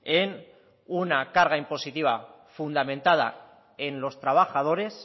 en una carga impositiva fundamentada en los trabajadores